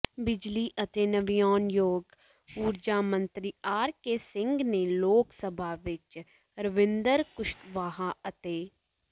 ਬਿਜਲੀ ਅਤੇ ਨਵਿਆਉਣਯੋਗ ਊਰਜਾ ਮੰਤਰੀ ਆਰ ਕੇ ਸਿੰਘ ਨੇ ਲੋਕ ਸਭਾ ਵਿੱਚ ਰਵਿੰਦਰ ਕੁਸ਼ਵਾਹਾ ਅਤੇ